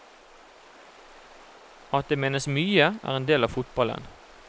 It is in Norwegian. At det menes mye, er en del av fotballen.